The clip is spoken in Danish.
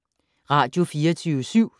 Radio24syv